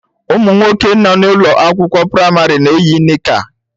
Ụmụ nwoke nọ n'ụlọ akwụkwọ praịmarị na-eyi nika